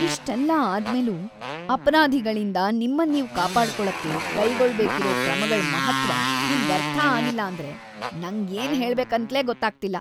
ಇಷ್ಟೆಲ್ಲ ಆದ್ಮೇಲೂ ಅಪರಾಧಿಗಳಿಂದ ನಿಮ್ಮನ್ ನೀವ್ ಕಾಪಾಡ್ಕೊಳಕ್ಕೆ ಕೈಗೊಳ್ಬೇಕಿರೋ ಕ್ರಮಗಳ್‌ ಮಹತ್ತ್ವ ನಿಮ್ಗರ್ಥ ಆಗಿಲ್ಲ ಅಂದ್ರೆ ನಂಗ್‌ ಏನ್‌ ಹೇಳ್ಬೇಕಂತ್ಲೇ ಗೊತ್ತಾಗ್ತಿಲ್ಲ.